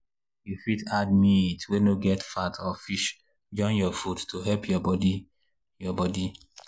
you fit add meat wey no get fat or fish join your food to help your body. your body.